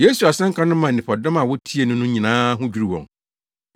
Yesu asɛnka no maa nnipadɔm a wotiee no no nyinaa ho dwiriw wɔn,